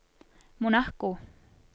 Monaco